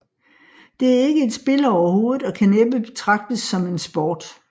Det er ikke et spil overhovedet og kan næppe betragtes som en sport